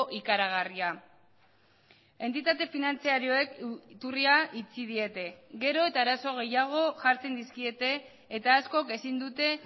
ikaragarria entitate finantzarioek iturria itxi diete gero eta arazo gehiago jartzen dizkiete eta askok ezin dute